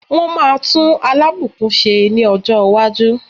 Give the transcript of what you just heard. Wọ́n máa tún Alábùkún ṣe ní ọjọ́ iwájú.